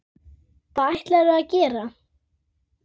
Hvað ætlarðu að gera?